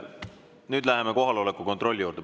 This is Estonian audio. Nüüd läheme kohaloleku kontrolli juurde.